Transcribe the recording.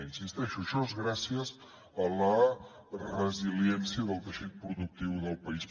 hi insisteixo això és gràcies a la resiliència del teixit productiu del país